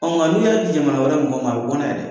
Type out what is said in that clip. nga n'u y'a di jamana wɛrɛ mɔgɔw ma, a bi bɔ n'a ye dɛ.